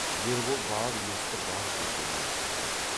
ербол бар есітіп бар көргенін айтқан жоқ